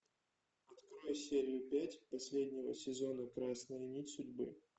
открой серию пять последнего сезона красная нить судьбы